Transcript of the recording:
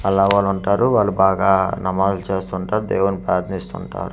అల్లా వాళ్లుంటారు వాళ్ళు బాగా నమాజులు చేస్తుంటారు దేవున్ని ప్రార్ధిస్తుంటారు.